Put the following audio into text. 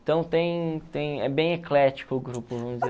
Então, tem tem é bem eclético o grupo